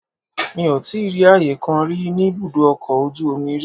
Mi ò tíì rí ààyè kan rí ní ibùdó ọkọ̀ ojú omi rí.